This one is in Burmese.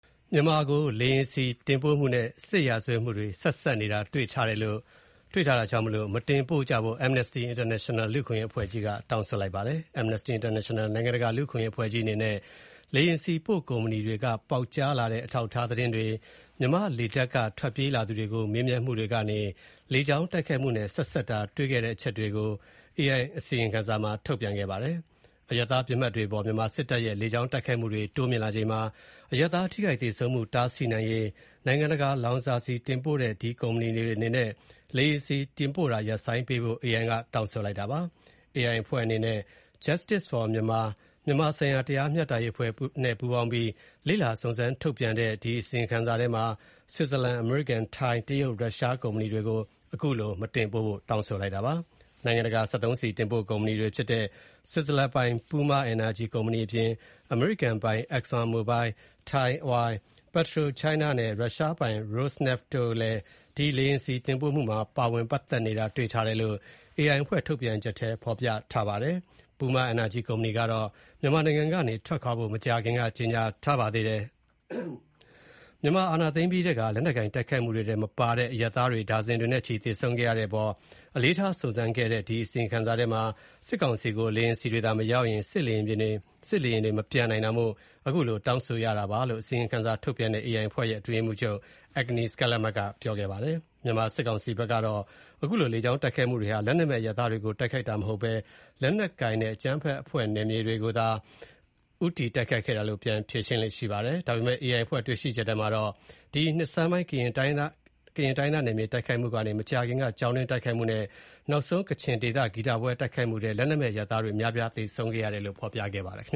မြန်မာကို လေယာဉ်ဆီတင်ပို့မှုနဲ့ စစ်ရာဇဝတ်မှု ဆက်စပ်နေတာတွေ့ထားလို့ မတင်ပို့ကြဖို့ Amnesty International အဖွဲ့က တောင်းဆိုလိုက်ပါတယ်။ Amnesty International နိုင်ငံတကာလူ့အခွင့်ရေးအဖွဲ့ကြီးအနေနဲ့ လေယာဉ်ဆီပို့ကုမ္ပဏီတွေက ပေါက်ကြားလာတဲ့ အထောက်အထားသတင်းတွေ၊ မြန်မာ့လေတပ်က ထွက်ပြေးလာသူတွေကို မေးမြန်းမှုတွေကနေ လေကြောင်းတိုက်ခိုက်မှုနဲ့ ဆက်စပ်တာတွေ့ခဲ့တဲ့အချက်တွေကို AI က အစီရင်ခံစာထုတ်ပြန်ခဲ့ပါတယ်။ အရပ်သားပစ်မှတ်တွေအပေါ် မြန်မာစစ်တပ်ရဲ့ လေကြောင်းတိုက်ခိုက်မှုတွေ တိုးမြင့်လာချိန်မှာ အရပ်သားထိခိုက်သေဆုံးမှု တားဆီးနိုင်ရေး၊ နိုင်ငံတကာ လောင်စာဆီတင်ပို့တဲ့ ကုမ္ပဏီတွေအနေနဲ့ လေယာဉ်ဆီတင်ပို့တာ ရပ်ဆိုင်းပေးဖို့၊ AI ကတောင်းဆိုပါတယ်။ AI အဖွဲ့နဲ့ Justice for Myanmar မြန်မာဆိုင်ရာတရားမျှတရေးအဖွဲ့ ပူးပေါင်းပြီး လေ့လာစုံစမ်းထုတ်ပြန်တဲ့ အစီရင်ခံစာထဲမှာ ဆွစ်ဇာလန်၊ အမေရိကန်၊ ထိုင်း၊ တရုတ်နဲ့ ရုရှားကုမ္ပဏီတွေကို အခုလိုတောင်းဆိုလိုက်တာပါ။ နိုင်ငံတကာ စက်သုံးဆီတင်ပို့ကုမ္ပဏီတွေဖြစ်တဲ့ ဆွစ်ဇာလန်ပိုင် Puma Energy ကုမ္ပဏီအပြင် အမေရိကန်ပိုင် ExxonMobil ၊ Thai Oil ၊ PetroChina နဲ့ ရုရှားပိုင် Rosneft တို့လည်း ဒီ လေယာဉ်ဆီတင်ပို့မှုမှာ ပါဝင်ပတ်သက်နေတာတွေ့ထားတယ်လို့ AI အဖွဲ့ထုတ်ပြန်ချက်ထဲ ဖော်ပြထားပါတယ်။ Puma Energy ကုမ္ပဏီကတော့ မြန်မာနိုင်ငံကနေထွက်ဖို့ မကြာခင်က ကြေညာထားပါတယ်။ မြန်မာစစ်အာဏာသိမ်းအပြီးထဲက လက်နက်ကိုင်တိုက်ခိုက်မှုထဲမပါတဲ့ အရပ် သားတွေ ဒါဇင်တွေနဲ့ချီသေဆုံးခဲ့ရတဲ့အပေါ် အလေးထားစုံစမ်းခဲ့တဲ့ အစီရင်ခံစာထဲမှာ စစ်ကောင်စီကို လေယာဉ်ဆီတွေသာ မရောင်းရင် စစ်လေယာဉ်တွေ မပျံနိုင်တာမို့ အခုလိုတောင်းဆိုတာပါလို့ အစီရင်ခံစာထုတ်ပြန်တဲ့ AI အဖွဲ့ရဲ့ အတွင်းရေးမှုးချုပ် Agnes Callamard က ပြောကြားခဲ့ပါတယ်။ မြန်မာစစ်ကောင်စီဘက်ကတော့ အခုလို လေကြောင်းတိုက်ခိုက်မူတွေဟာ လက်နက်မဲ့အရပ်သားတွေကို တိုက်ခိုက်တာမဟုတ်ဘဲ လက်နက်ကိုင်နဲ့ အကြမ်းဖက်အဖွဲ့ နယ်မြေတွေကိုသာ ဦးတည်တိုက်ခိုက်ခဲ့တာလို့ ပြန်ဖြေရှင်းလေ့ရှိပါတယ်။ ဒါပေမဲ့ AI အဖွဲ့ တွေ့ရှိချက်ထဲမှာတော့ ဒီနှစ်ဆန်းပိုင်း ကရင်တိုင်းရင်းသားနယ်မြေတိုက်ခိုက်မှုကနေ မကြာခင်က ကျောင်းတွင်းတိုက်ခိုက်မှုနဲ့ နောက်ဆုံးကချင်ဒေသ ဂီတပွဲတိုက်ခိုက်မှုထဲ လက်နက်မဲ့ အရပ်သားတွေအများအပြား သေဆုံးခဲ့ရတယ်လို့ ဖော်ပြခဲ့ပါတယ်ခင